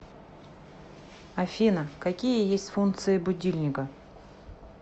афина какие есть функции будильника